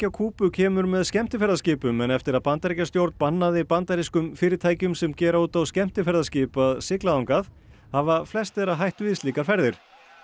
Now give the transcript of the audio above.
Kúbu kemur með skemmtiferðaskipum en eftir að Bandaríkjastjórn bannaði bandarískum fyrirtækjum sem gera út skemmtiferðaskip að sigla þangað hafa flest þeirra hætt við slíkar ferðir